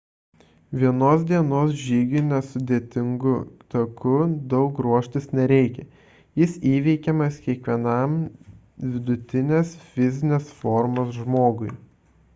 vienos dienos žygiui nesudėtingu taku daug ruoštis nereikia – jis įveikiamas kiekvienam vidutinės fizinės formos žmogui